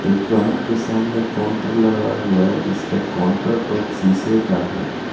दुकान के सामने काउंटर लगा हुआ है जिसका काउंटर टॉप शीशे का है.